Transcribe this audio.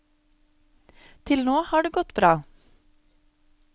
Til nå har det gått bra.